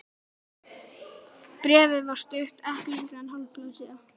Bréfið var stutt, ekki lengra en hálf blaðsíða.